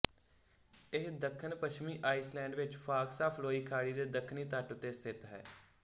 ਇਹ ਦੱਖਣਪੱਛਮੀ ਆਈਸਲੈਂਡ ਵਿੱਚ ਫ਼ਾਕਸਾਫ਼ਲੋਈ ਖਾੜੀ ਦੇ ਦੱਖਣੀ ਤਟ ਉੱਤੇ ਸਥਿੱਤ ਹੈ